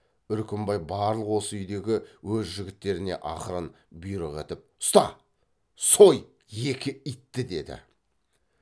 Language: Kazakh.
үркімбай барлық осы үйдегі өз жігіттеріне ақырын бұйрық етіп ұста сой екі итті деді